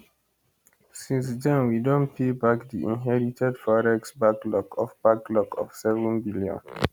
since den we don pay back di inherited forex backlog of backlog of 7 billion